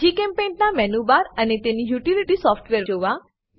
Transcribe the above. જીચેમ્પેઇન્ટ ના menu bar અને તેની યુટીલીટી સોફ્ટવેર જોવા